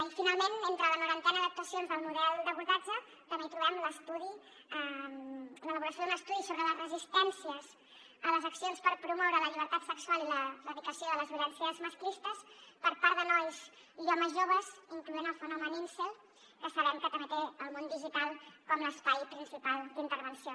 i finalment entre la norantena d’actuacions del model d’abordatge també hi trobem l’elaboració d’un estudi sobre les resistències a les accions per promoure la llibertat sexual i l’erradicació de les violències masclistes per part de nois i homes joves incloent hi el fenomen incel que sabem que també té el món digital com l’espai principal d’intervenció